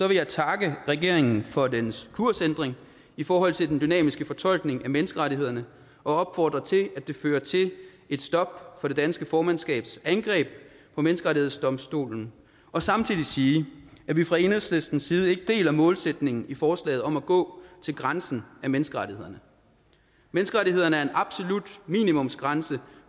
vil jeg takke regeringen for dens kursændring i forhold til den dynamiske fortolkning af menneskerettighederne og opfordre til at det fører til et stop for det danske formandskabs angreb på menneskerettighedsdomstolen og samtidig sige at vi fra enhedslistens side ikke deler målsætningen i forslaget om at gå til grænsen af menneskerettighederne menneskerettighederne er en absolut minimumsgrænse